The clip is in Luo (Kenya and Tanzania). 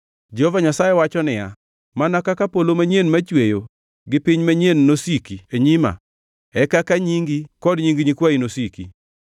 Jehova Nyasaye wacho niya, “Mana kaka polo manyien machweyo gi piny manyien nosiki e nyima, e kaka nyingi kod nying nyikwayi nosiki.